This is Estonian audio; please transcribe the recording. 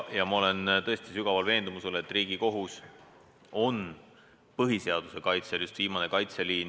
Ma olen tõesti sügavalt veendunud, et Riigikohus on põhiseaduse kaitsel viimane kaitseliin.